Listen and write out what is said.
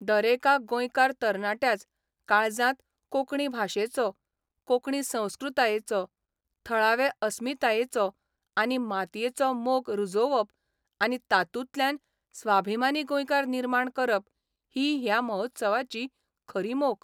दरेका गोंयकार तरणाट्याच काळजांत कोंकणी भाशेचो, कोंकणी संस्कृतायेचो, थळावे अस्मितायेचो आनी मातयेचो मोग रुजोवप आनी तातूंतल्यान स्वाभिमानी गोंयकार निर्माण करप ही ह्या महोत्सवाची खरी मोख.